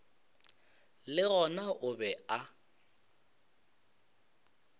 le gona o be a